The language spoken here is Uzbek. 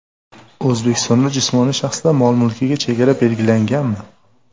O‘zbekistonda jismoniy shaxslar mol-mulkiga chegara belgilanganmi?